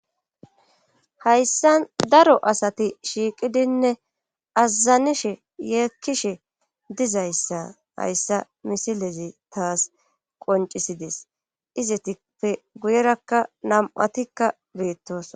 hayssa daro asati shiiqidinne azazanishe yeekkishe dizayssa hayssa misilezi taas qoncisides izetipe guyerakka nam7atikka beettos